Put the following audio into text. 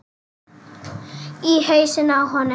Í hausinn á honum.